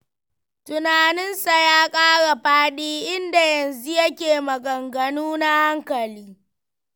Tunaninsa ya ƙara faɗi, inda yanzu yake maganganu na hankali.